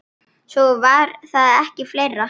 Svo var það ekki fleira.